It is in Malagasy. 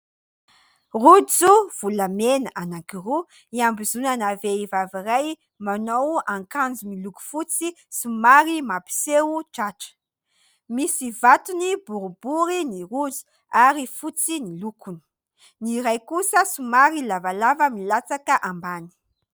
Rojo volamena anankiroa iambozonana vehivavy iray: manao akanjo miloko fotsy somary mampiseho tratra, misy vatony boribory ny rojo ary fotsy ny lokony, ny iray kosa somary lavalava milatsaka ambany.